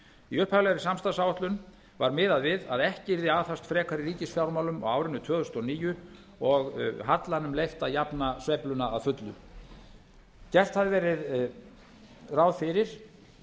í upphaflegri samstarfsáætlun var miðað við að ekki yrði aðhafst frekar í ríkisfjármálum á árinu tvö þúsund og níu og hallanum leyft að jafna sveifluna að fullu gert hafði verið ráð fyrir